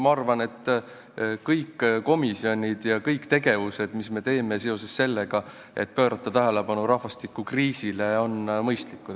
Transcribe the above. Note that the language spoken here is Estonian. Ma arvan, et kõik komisjonid ja kõik tegevused, mida me teeme selleks, et pöörata tähelepanu rahvastikukriisile, on mõistlikud.